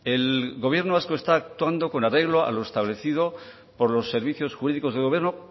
el gobierno vasco está actuando con arreglo a lo establecido por los servicios jurídicos del gobierno